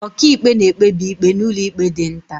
Ọkàikpe na-ekpebi ikpe n'ụlọikpe dị nta.